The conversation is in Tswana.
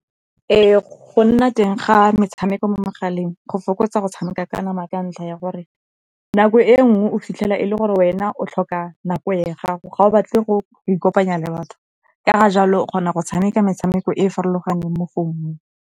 Ee, go nna teng ga metshameko mo megaleng go fokotsa go tshameka ka nama ka ntlha ya gore nako e nngwe o fitlhela e le gore wena o tlhoka nako ya gago, ga o batle go ikopanya le batho. Ka ga jalo o kgona go tshameka metshameko e farologaneng mo founung.